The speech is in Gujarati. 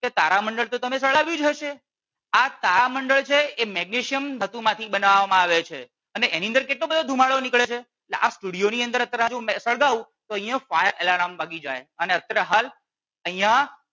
તારામંડળ તો તમે સળગાવ્યું જ હશે આ તારામંડળ છે એ મેગ્નેશિયમ ધાતુ માં થી બનાવવામાં આવે છે એની અંદર કેટલો બધો ધુમાડો નીકળે છે એટલે આ સ્ટુડિયો ની અંદર અત્યારે આ સળગાવું તો અહિયાં fire alarm વાગી જાય અને અત્યારે હાલ અહિયાં